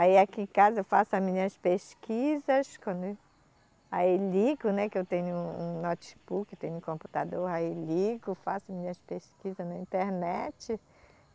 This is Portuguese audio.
Aí aqui em casa eu faço as minhas pesquisas quando aí ligo, né, que eu tenho um notebook, tenho um computador, aí ligo, faço minhas pesquisas na internet.